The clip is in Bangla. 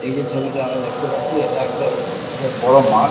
এই যে ছবিটা আমরা দেখতে পাচ্ছি এটা একটা বিশাল বড় মাঠ।